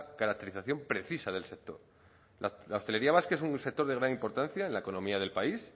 caracterización precisa del sector la hostelería vasca es un sector de gran importancia en la economía del país